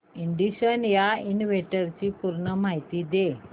ignition या इव्हेंटची पूर्ण माहिती दे